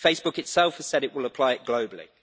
Facebook itself has said it will apply it globally.